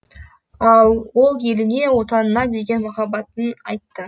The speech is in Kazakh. ал ол еліне отанына деген махаббатын айтты